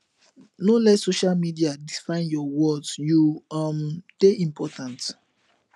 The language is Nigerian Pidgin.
no let social media define your worth you um dey important